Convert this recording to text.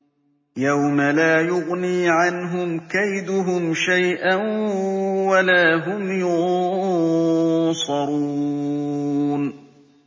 يَوْمَ لَا يُغْنِي عَنْهُمْ كَيْدُهُمْ شَيْئًا وَلَا هُمْ يُنصَرُونَ